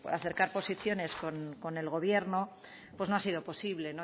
acercar posiciones con el gobierno pues no ha sido posible